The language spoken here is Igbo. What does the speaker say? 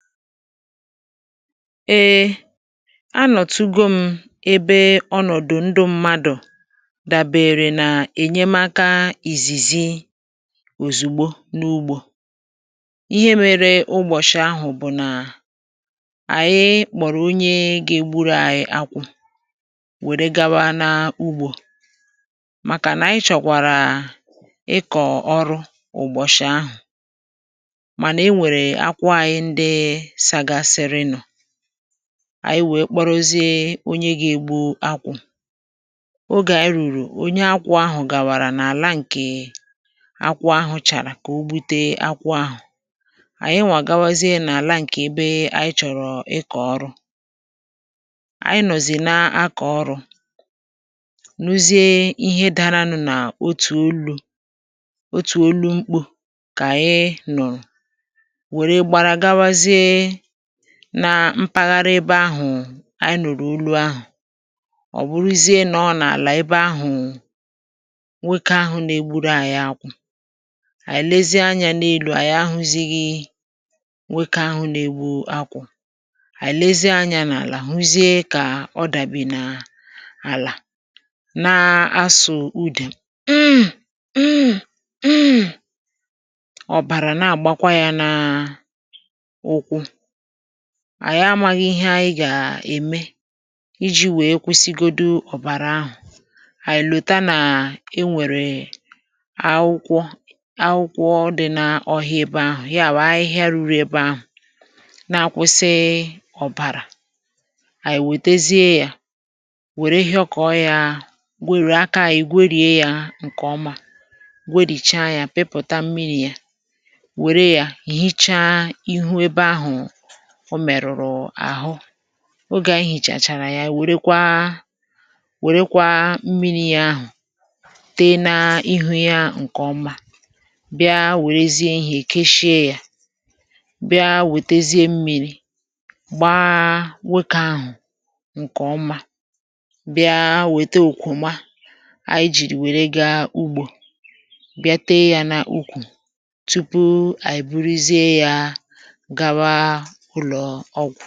Eė anọ̀tugo m ebe ọnọ̀dụ̀ ndụ mmadụ̀ dàbèrè n’ènyemaka ìzìzì ozugbo n’ugbò. Ihe mere ugbòshị̀ ahụ̀ bụ̀ nà ànyị kpọ̀rọ̀ onye ga-egburu anyị̀ akwụ̇ wèrè gawa n’ugbò, maka nà ànyị chọkwara ịkọ̀ ọrụ ugbòshị̀ ahụ̀. Mana e were akwụ̇ ànyị ndị chagasiri nu, ànyị wèe kporozie onye gà-ėgbu akwụ̇. Ògé ànyị rùrù, onye akwụ̇ ahụ̀ gàwàrà n’àla ǹkè akwụ̇ ahụ̇ chàrà kà o gbute akwụ̇ ahụ̀. Ànyị nwàgawazie nà àla ǹkè ebe ànyị chọ̀rọ̀ ịkọ̀ ọrụ, ànyị nọ̀zị na-akọ̀ ọrụ̇. N’uzìe, ihe daraanụ̇ nà otu olu̇, otu olu̇ mkpù kà ànyị nụ̀rụ̀, wee gbara gabazie na mpaghara ebe ahụ̀ ànyị nụ̀rụ̀ olu ahụ̀. Ọ bụruzie nọ n’àlà ebe ahụ̀ nwoke ahụ̀ nà-egburu ànyị akwụ̇. Ànyị lezie anyȧ n’elu, ànyị ahuzighi nwoke ahụ̀ nà-egbu akwụ̇; ànyị lezie anyȧ n’àlà hụzie kà ọ dàbì n’àlà, na-asụ ụde hmmm ịm ịm ịm. Ọbara na-àgbakwa yà n’ụkwụ̇. Ànyị amaghị ihe ànyị gà-ème iji̇ wee kwụsịgodù ọbara ahụ̀. Ànyị lòta nà e nwèrè akwụkwọ akwụkwọ dị na ọhịa ebe ahụ̀; ya bụ ahịhịa ruru ebe ahụ̀ na-akwụsị ọbara. Ànyị wètezie ya, wèrè yoko yà, wèrè aka ànyị gwerie ya nke ọma, gwericha ya, pipụta mmiri ya. Wèrè ya hicha ihu ebe ahụ̀ o mèrùrù àhụ. Ògé ànyị hìchàchàrà ya, wèrèkwa mmiri̇ yà ahụ̀ tee n’ihu̇ yà nke ọma, bịa wèrèzie ihè kechie yà, bịa wètezie mmiri̇ gbaa nwoke ahụ̀ nke ọma, bịa wète òkwòma ànyị jìrì wèrè gà ugbò, bịa tee yà n’ukwù tupu ànyị buruzie yà gawa ụlọ̀ọgwụ.